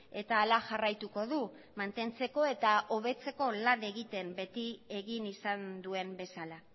eta hala jarraituko du mantentzeko eta hobetzeko lan egiten beti egin izan duen bezala